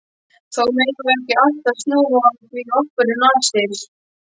Þó megum við ekki alltaf núa því okkur um nasir.